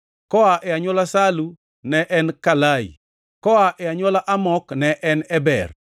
koa e anywola Salu ne en Kalai; koa e anywola Amok ne en Eber;